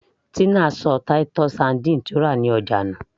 Tina ṣọ titus sardines tí ó rà ní ọjà nù